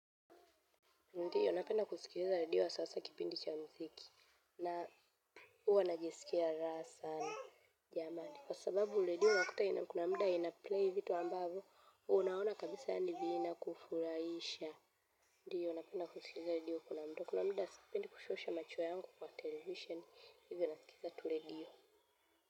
Ndiyo, napenda kusikiza redio wa sasa kipindi cha muziki na huwa najisikia raha sana jamani. Kwa sababu, ule diyo wakuta ina kuna mda ina play vitu ambavu, unaona kabisa yandibi ina kufuraisha. Ndiyo, napenda kusikiliza redio kuna muda, kusikisha machuwa yangu kwa television, hivyo nasikiza tu radio.